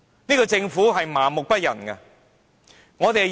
這個政府是麻木不仁的。